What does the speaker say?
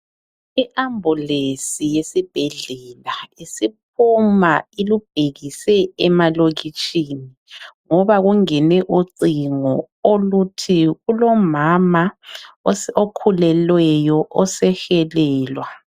I ambulesi yesibhedlela isiphuma ilubhekise emalokitshini, ngoba kungene ucingo oluthi kulomama osi okhulelweyo osehelelwa.